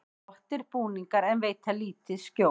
Flottir búningar en veita lítið skjól